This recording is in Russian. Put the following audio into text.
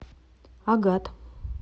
агат